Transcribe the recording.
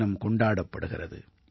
தினம் கொண்டாடப்படுகிறது